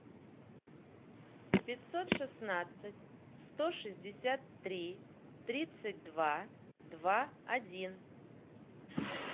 пятьсот шестнадцать сто шестьдесят три тридцать два два один